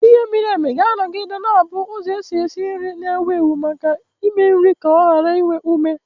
Ighe miri emi ga-anọgide na-abụ ụzọ esi esi nri na-ewu ewu maka ịme nri ka o ghara inwe ume.